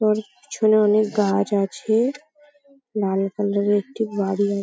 ওর পিছনে অনেক গাছ আছে। লাল কালার -এর একটি বাড়ি আ --